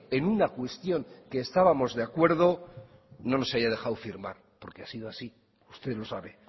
en una cuestión que estábamos de acuerdo no nos haya dejado firmar porque ha sido así usted lo sabe